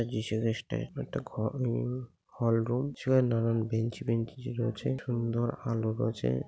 যীশুখ্রীষ্টের এটা ঘররুম হলরুম সে নানান বেঞ্চ বেঞ্চি রয়েছে সুন্দর আলো রয়েছে।